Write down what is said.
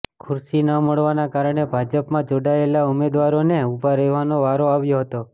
ખુરશી ન મળવાના કારણે ભાજપમાં જોડાયેલા ઉમેદવારોને ઉભા રહેવાનો વારો આવ્યો હતો